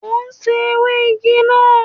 Mo ń sè ewé igi náà